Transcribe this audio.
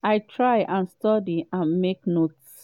“i try and study and make notes.